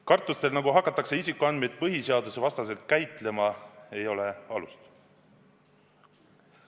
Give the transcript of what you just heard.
Kartustel, et neid isikuandmeid hakatakse põhiseadusvastaselt käitlema, ei ole alust.